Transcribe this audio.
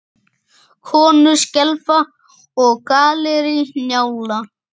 Konur skelfa og Gallerí Njála.